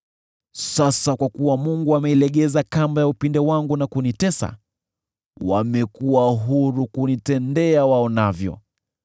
Sasa kwa kuwa Mungu ameilegeza kamba ya upinde wangu na kunitesa, wamekuwa huru kunitendea waonavyo.